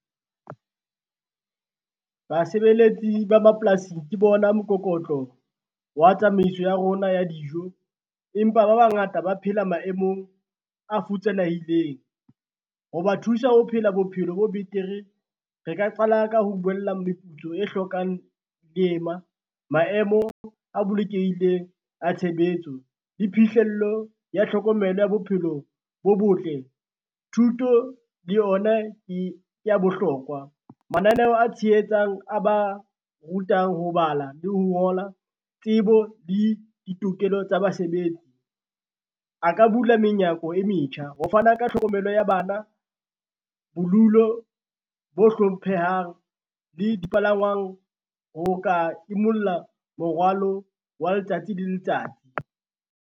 Basebeletsi ba mapolasing ke bona mokokotlo wa tsamaiso ya rona ya dijo, empa ba bangata ba phela maemong a futsanehileng, ho ba thusa ho phela bophelo bo betere. Re ka qala ka ho buella meputso e hlokang leema, maemo a bolokehileng a tshebetso le phihlello ya tlhokomelo ya bophelo bo botle, thuto le yona ke ya bohlokwa. Mananeo a tshehetsang a ba rutang ho bala le ho ngola, tsebo le ditokelo tsa basebetsi, a ka bula menyako e metjha ho fana ka tlhokomelo ya bana, bolulo bo hlomphehang le dipalangwang, ho ka imulla morwalo wa letsatsi le letsatsi.